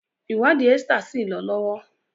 ìwádìí Esther sí lọ lọwọ